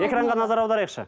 экранға назар аударайықшы